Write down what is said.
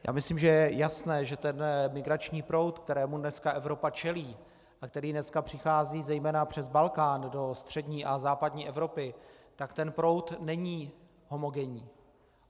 Já myslím, že je jasné, že ten migrační proud, kterému dneska Evropa čelí a který dneska přichází zejména přes Balkán do střední a západní Evropy, tak ten proud není homogenní.